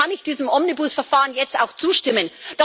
Somit kann ich diesem Omnibus Verfahren jetzt auch zustimmen.